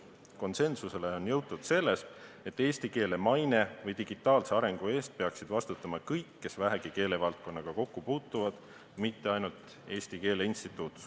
Konsensusele on jõutud selles, et eesti keele maine ja digitaalse arengu eest peaksid vastutama kõik, kes vähegi keelevaldkonnaga kokku puutuvad, mitte ainult Eesti Keele Instituut.